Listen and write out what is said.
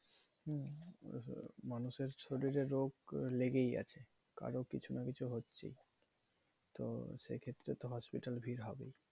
মানুষে শরীরে রোগ লেগেই আছে কারো কিছু না কিছু হচ্ছেই। তো সেক্ষেত্রে তো hospital ভিড় হবেই।